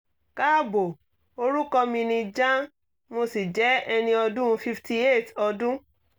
kaabo orúkọ mi ni jan mo sì jẹ́ ẹni ọdún fifty eight ọdún